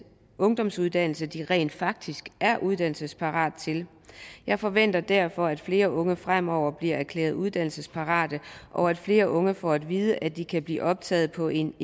ungdomsuddannelse de rent faktisk er uddannelsesparate til jeg forventer derfor at flere unge fremover bliver erklæret uddannelsesparate og at flere unge får at vide at de kan blive optaget på en